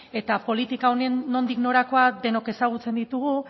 eta politika honen nondik norakoak denok ezagutzen ditugu